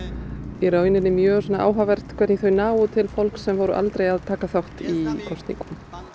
í raun mjög áhugavert hvernig þau ná til fólks sem voru aldrei að taka þátt í kosningum